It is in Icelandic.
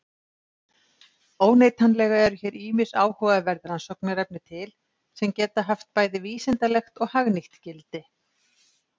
Óneitanlega eru hér ýmis áhugaverð rannsóknarefni til sem geta haft bæði vísindalegt og hagnýtt gildi.